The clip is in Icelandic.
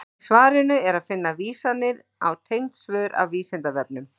Í svarinu er að finna vísanir á tengd svör af Vísindavefnum.